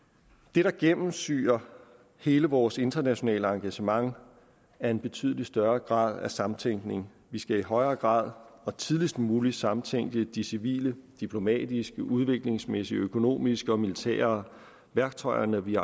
det der gennemsyrer hele vores internationale engagement er en betydelig større grad af samtænkning vi skal i højere grad og tidligst muligt samtænke de civile diplomatiske udviklingsmæssige økonomiske og militære værktøjer når vi